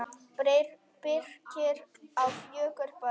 Birkir á fjögur börn.